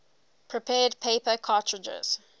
prepared paper cartridges